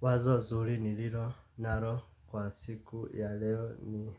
Wazo zuri nililo nalo kwa siku ya leo ni